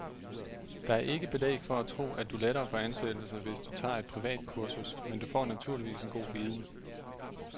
Der er ikke belæg for at tro, at du lettere får ansættelse, hvis du tager et privat kursus, men du får naturligvis en god viden.